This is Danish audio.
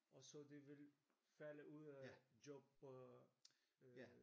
Og så de vil falde ud af job og øh